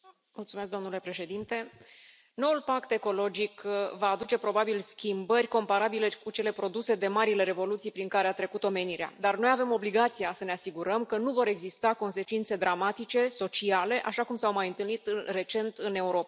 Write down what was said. Domnule președinte, noul pact ecologic va aduce, probabil, schimbări comparabile cu cele produse de marile revoluții prin care a trecut omenirea, dar noi avem obligația să ne asigurăm că nu vor exista consecințe dramatice, sociale, așa cum s au mai întâlnit recent în Europa.